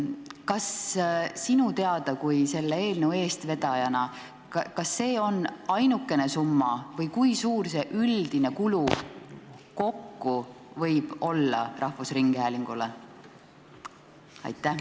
Kas sinu kui selle eelnõu eestvedaja teada on see ainuke summa või kui suur see üldine kulu kokku võib rahvusringhäälingule olla?